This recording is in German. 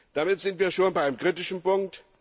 Damit sind wir schon bei dem kritischen Punkt.